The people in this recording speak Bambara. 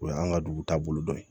O y'an ka dugu taabolo dɔ ye